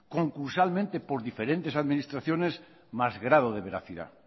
concursalmente por diferentes administraciones más grado de veracidad